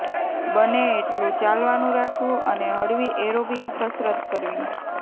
બને એટલું ચાલવાનું રાખવું અને હળવી એરોબિક કસરત કરવી